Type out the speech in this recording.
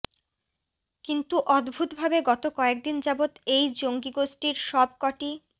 কিন্তু অদ্ভুতভাবে গত কয়েকদিন যাবত এই জঙ্গি গোষ্ঠীর সব কটি